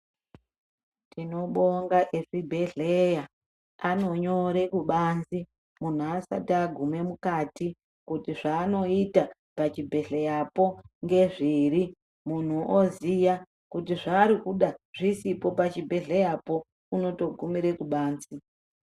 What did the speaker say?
Tinobonga ezvibhedhleya anonyora kubanze muntu aasati agume mukati kuti zvanoita pachibhedhleyapo ngezviri . Muntu oziva kuti zvaari kuda zvisipo pachibhedhleyapo anotoguma kubanze.